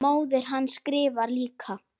Móðir hans skrifar líka.